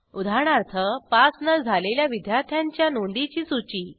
उदाहरणार्थ पास न झालेल्या विद्यार्थ्यांच्या नोंदीची सूची